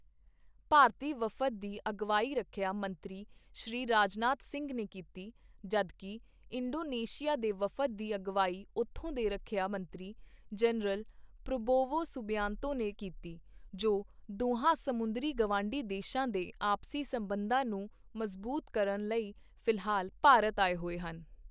ਭਾਰਤੀ ਵਫਦ ਦੀ ਅਗਵਾਈ ਰੱਖਿਆ ਮੰਤਰੀ ਸ਼੍ਰੀ ਰਾਜਨਾਥ ਸਿੰਘ ਨੇ ਕੀਤੀ ਜਦਕਿ ਇੰਡੋਨੇਸ਼ੀਆ ਦੇ ਵਫਦ ਦੀ ਅਗਵਾਈ ਉਥੋਂ ਦੇ ਰੱਖਿਆ ਮੰਤਰੀ ਜਨਰਲ ਪ੍ਰਬੋਵੋ ਸੁਬਿਆਂਤੋ ਨੇ ਕੀਤੀ ਜੋ ਦੋਹਾਂ ਸਮੁੰਦਰੀ ਗਵਾਂਢੀ ਦੇਸ਼ਾਂ ਦੇ ਆਪਸੀ ਸੰਬੰਧਾਂ ਨੂੰ ਮਜ਼ਬੂਤ ਕਰਨ ਲਈ ਫਿਲਹਾਲ ਭਾਰਤ ਆਏ ਹੋਏ ਹਨ।